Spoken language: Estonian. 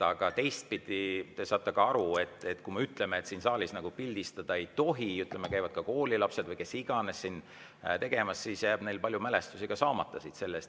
Aga teistpidi, te saate ka aru, et kui me ütleme, et siin saalis pildistada ei tohi – meil käivad ka koolilapsed või kes iganes –, siis jääb neil ka palju mälestusi siit saamata.